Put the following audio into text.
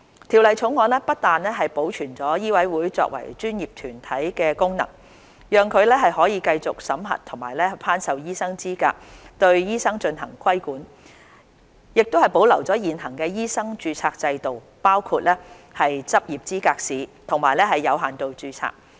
《條例草案》不但保存醫委會作為專業團體的功能，讓其可繼續審核和頒授醫生資格及對醫生進行規管，亦保留現行的醫生註冊制度，包括執業資格試和有限度註冊。